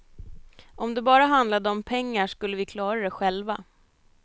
Om det bara handlade om pengar skulle vi klara det själva.